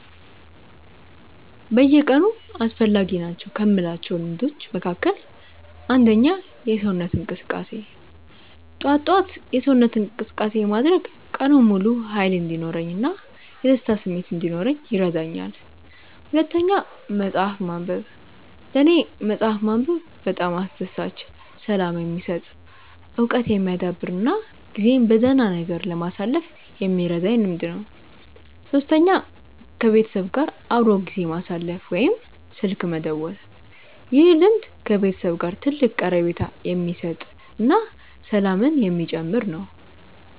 በየቀኑ አስፈላጊ ናቸው ከምላቸው ልምዶች መካከል፦ 1. የሰውነት እንቅስቃሴ፦ ጠዋት ጠዋት የሰውነት እንቅስቃሴ ማድረግ ቀኑን ሙሉ ሃይል እንዲኖረኝ እና የደስታ ስሜት እንዲኖረኝ ይረዳኛል። 2. መፅሐፍ ማንበብ፦ ለኔ መፅሐፍ ማንበብ በጣም አስደሳች፣ ሰላም የሚሰጥ፣ እውቀት የሚያዳብር እና ጊዜን በደህና ነገር ለማሳለፍ የሚረዳኝ ልምድ ነው። 3. ከቤተሰብ ጋር አብሮ ጊዜ ማሳለፍ ወይም ስልክ መደወል፦ ይህ ልምድ ከቤተሰብ ጋር ትልቅ ቀረቤታ የሚሰጥ እና ሰላምን የሚጨምር ነው